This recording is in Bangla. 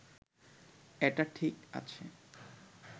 এটা ঠিক আছে